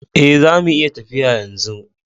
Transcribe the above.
Eh, zamu iya tafiya yanzu.